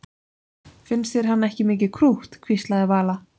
Finnst þér hann ekki mikið krútt? hvíslaði Vala.